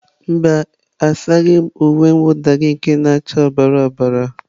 Mba, asaghị m uwe mwụda gị nke na acha ọbara ọbara